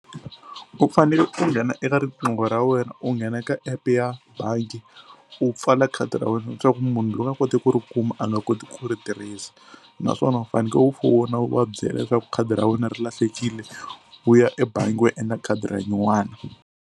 U fanele u nghena eka riqingho ra wena u nghena ka epe ya bangi u pfala khadi ra wena leswaku munhu loko a koti ku ri kuma a nga koti ku ri tirhisa naswona u faneke u fona u va byela leswaku khadi ra wena ri lahlekile u ya ebangi u ya endla khadi ra nyuwana.